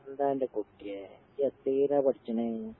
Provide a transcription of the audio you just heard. എന്താന്റെ കുട്ടിയേ, ഇജ്ജെത്രയിലാ പഠിച്ചണേ?